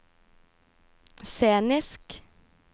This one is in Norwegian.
scenisk